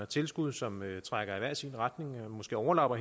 tilskud som trækker i hver sin retning og måske overlapper